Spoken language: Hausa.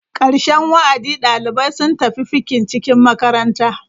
Ƙarshen wa'adi, ɗalibai sun tafi fikin-cikin makaranta.